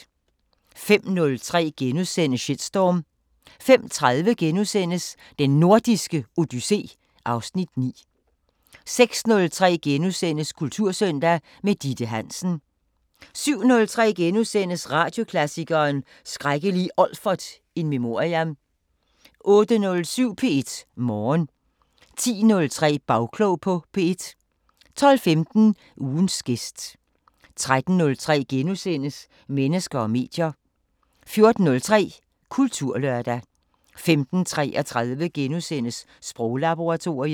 05:03: Shitstorm * 05:30: Den Nordiske Odyssé (Afs. 9)* 06:03: Kultursøndag – med Ditte Hansen * 07:03: Radioklassikeren: Skrækkelige Olfert in memoriam * 08:07: P1 Morgen 10:03: Bagklog på P1 12:15: Ugens gæst 13:03: Mennesker og medier * 14:03: Kulturlørdag 15:33: Sproglaboratoriet *